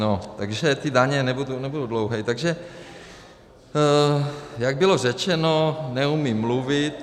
No, takže ty daně - nebudu dlouhý - takže jak bylo řečeno, neumím mluvit.